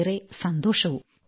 ഏറെ സന്തോഷവും